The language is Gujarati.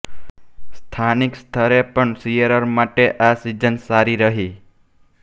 સ્થાનિક સ્તરે પણ શીયરર માટે આ સીઝન સારી રહી